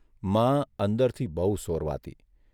મા અંદરથી બહુ સોરવાતી.